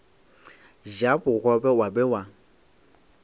ja bogobe wa be wa